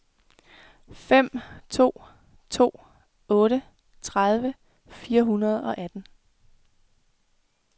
fem to to otte tredive fire hundrede og atten